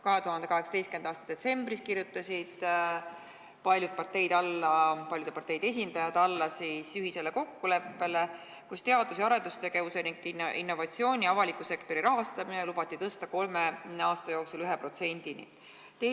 2018. aasta detsembris kirjutasid paljude parteide esindajad alla kokkuleppele, milles lubati teadus- ja arendustegevuse ning innovatsiooni riiklik rahastamine tõsta kolme aasta jooksul 1%-ni SKT-st.